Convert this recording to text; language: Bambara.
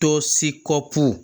Dɔ seko